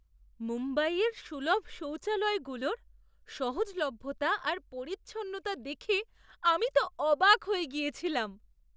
মুম্বাইয়ের সুলভ শৌচালয়গুলোর সহজলভ্যতা আর পরিচ্ছন্নতা দেখে আমি তো অবাক হয়ে গিয়েছিলাম!